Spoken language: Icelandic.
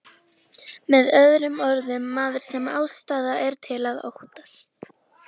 Með öðrum orðum, maður sem ástæða er til að óttast.